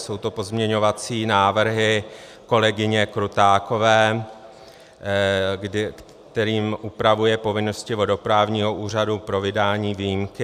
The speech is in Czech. Jsou to pozměňovací návrhy kolegyně Krutákové, kterými upravuje povinnosti vodoprávního úřadu pro vydání výjimky.